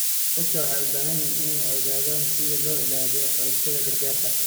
Dadku waxay u baahan yihiin inay ogaadaan sida loo ilaaliyo xogtooda gaarka ah.